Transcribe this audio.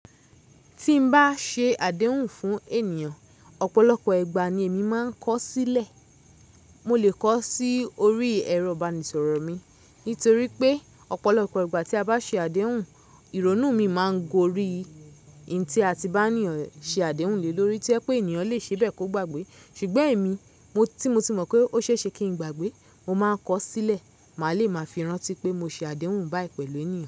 Tí n bá ṣe àdéhùn fún ènìyàn, ọ̀pọ̀lọpọ̀ ìgbà ni èmi máa ń kọ sílẹ̀. Mo lè kọ sí orí ẹ̀rọ ìbánisọ̀rọ̀ mi nítorí pé ọ̀pọ̀lọpọ̀ ìgbà tí a bá ṣe àdéhùn, ìrònú mi máa ń gorí i. Ì tí a ti bá ní ọ̀ṣẹ àdéhùn lé lórí to jẹ̀ pé ènìyàn lè ṣe bẹ́ẹ̀ kó gbàgbé. Ṣùgbọ́n èmi tí mo ti mọ̀ pé ó ṣe é ṣe kí n gbàgbé, mo máa ń kọ sílẹ̀. Màá lè máa fi ràn tí pé mo ṣe àdéhùn báyìí pẹ̀lú ènìyàn.